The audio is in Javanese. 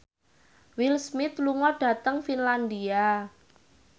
Will Smith lunga dhateng Finlandia